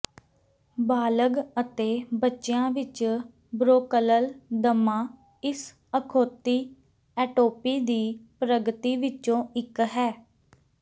ਬਾਲਗ਼ ਅਤੇ ਬੱਚਿਆਂ ਵਿੱਚ ਬ੍ਰੋਕਲਲ ਦਮਾ ਇਸ ਅਖੌਤੀ ਐਟੋਪੀ ਦੀ ਪ੍ਰਗਤੀ ਵਿੱਚੋ ਇੱਕ ਹੈ